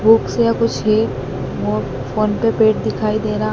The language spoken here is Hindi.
बुक्स या कुछ है फोन पे दिखाई दे रहा--